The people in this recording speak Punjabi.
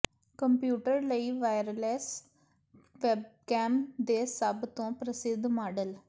ਕੰਪਿਊਟਰ ਲਈ ਵਾਇਰਲੈੱਸ ਵੈਬਕੈਮ ਦੇ ਸਭ ਤੋਂ ਪ੍ਰਸਿੱਧ ਮਾਡਲ